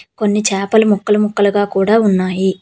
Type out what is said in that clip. కొన్ని చేపలు ముక్కలు ముక్కలుగా కూడా ఉన్నాయి.